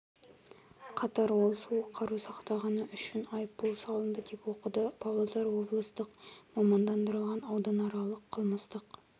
қатар ол суық қару сақтағаны үшін айыппұл салынды деп оқыды павлодар облыстық мамандандырылған ауданаралық қылмыстық